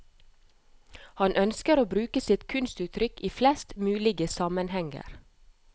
Han ønsker å bruke sitt kunstuttrykk i flest mulig sammenhenger.